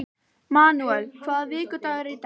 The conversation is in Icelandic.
Manúel, hvaða vikudagur er í dag?